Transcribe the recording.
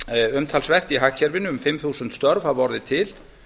umtalsvert í hagkerfinu um fimm þúsund störf hafa orðið til